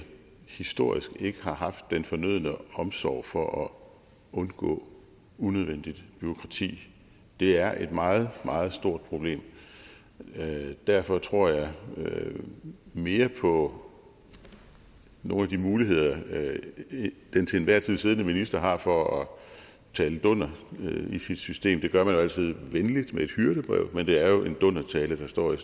historisk ikke har haft den fornødne omsorg for at undgå unødvendigt bureaukrati det er et meget meget stort problem derfor tror jeg mere på nogle af de muligheder den til enhver tid siddende minister har for at tale dunder via sit system det gør man altid venligt med et hyrdebrev men det er jo en dundertale der står i